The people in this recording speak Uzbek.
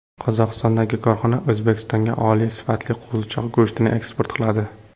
Qozog‘istondagi korxona O‘zbekistonga oliy sifatli qo‘zichoq go‘shtini eksport qiladi.